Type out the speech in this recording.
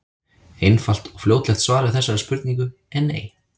Einfalt og fljótlegt svar við þessari spurningu er nei.